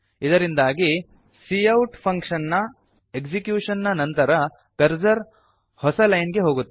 ಇದರಿಂದಾಗಿ cout function ನ execution ನ ನಂತರ ಕರ್ಸರ್ ಹೊಸ ಲೈನ್ ಗೆ ಹೋಗುತ್ತದೆ